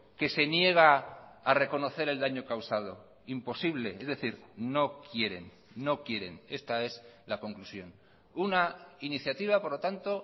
que se niega a reconocer el daño causado imposible es decir no quieren no quieren esta es la conclusión una iniciativa por lo tanto